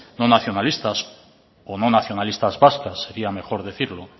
no nacionalistas o no nacionalistas vascas sería mejor decirlo